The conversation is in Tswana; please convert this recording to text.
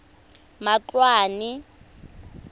matloane